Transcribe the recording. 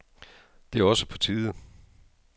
Det er også på tide.